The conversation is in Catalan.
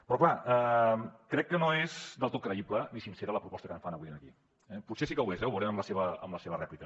però clar crec que no és del tot creïble ni sincera la proposta que em fan avui en aquí potser sí que ho és ho veurem amb la seva rèplica